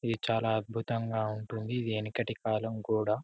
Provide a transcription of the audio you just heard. ఇది చాలా అద్భుతంగా ఉంటుంది వెనకటి కాలం గోడ